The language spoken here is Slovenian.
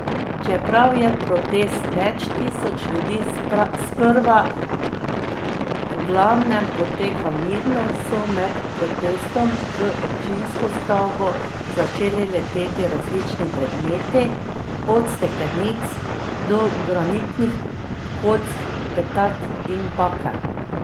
Čeprav je protest več tisoč ljudi sprva v glavnem potekal mirno, so med protestom v občinsko stavbo začeli leteti različni predmeti, od steklenic, do granitnih kock, petard in bakel.